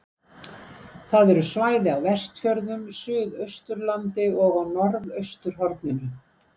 Það eru svæði á Vestfjörðum, Suðausturlandi og á norðausturhorninu.